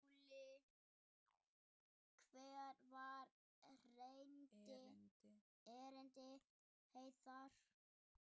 SKÚLI: Hvert var erindi yðar?